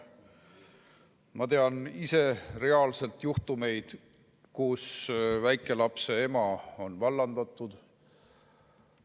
Ma tean ise reaalselt juhtumeid, kui väikelapse ema on vallandatud.